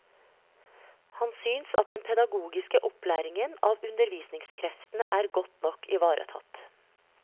Han synes at den pedagogiske opplæringen av undervisningskreftene er godt nok ivaretatt.